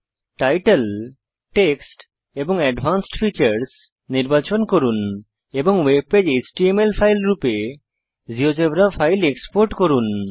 title text এবং advanced features নির্বাচন করুন এবং ওয়েবপেজ এচটিএমএল ফাইল রূপে জীয়োজেব্রা ফাইল এক্সপোর্ট করুন